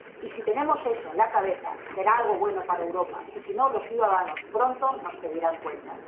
Y si tenemos eso en la cabeza, será algo bueno para Europa, y si no, los ciudadanos pronto nos pedirán cuentas.